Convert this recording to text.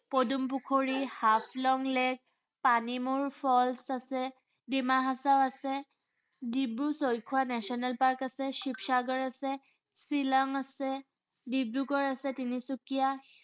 পদুম Pukhuri, Haflong lake, Panimur falls আছে, ডিমা হাছাও আছে, ডিব্ৰু-চৈখোৱা national park আছে, শিৱসাগৰ আছে, শ্বিলং আছে, ডিব্ৰুগড় আছে তিনিচুকীয়া